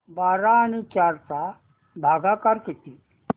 बारा आणि चार चा भागाकर किती